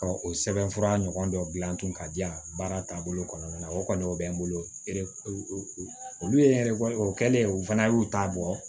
o sɛbɛnfura ɲɔgɔn dɔ dilan tun ka di yan baara taabolo kɔnɔna na o kɔni o bɛ n bolo olu ye hɛrɛ o kɛlen ye u fana y'u ta bɔ